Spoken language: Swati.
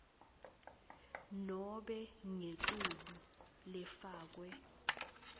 nobe ngetulu lefakwe